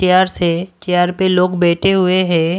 Chairs है chair पे लोग बैठे हुए हैं।